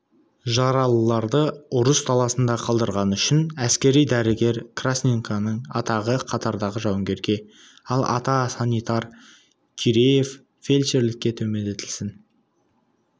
жаралыларды ұрыс даласында қалдырғаны үшін әскери дәрігер красненконың атағы қатардағы жауынгерге ал ата санитар киреев фельдшерлікке төмендетілсін